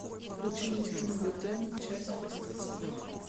включи мне фильм готэм часть восемь